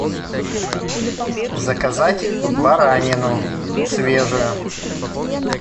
заказать баранину свежую